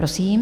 Prosím.